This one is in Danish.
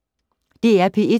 DR P1